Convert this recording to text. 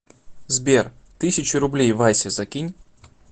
сбер тысячу рублей васе закинь